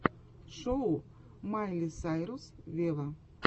шоу майли сайрус вево